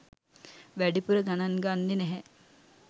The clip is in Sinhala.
වැඩිපුර ගණන් ගන්නේ නැහැ.